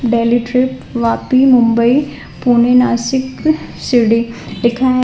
पहले ट्रिप वापी मुंबई पुणे नासिक शिरडी लिखा है।